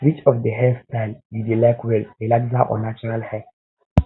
which of di hair style you dey like well relaxer or natural hair